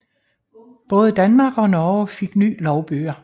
Både Danmark og Norge fik nye lovbøger